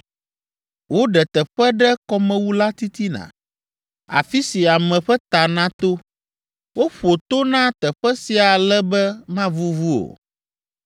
Woɖe teƒe ɖe kɔmewu la titina, afi si ame ƒe ta nato. Woƒo to na teƒe sia ale be mavuvu o.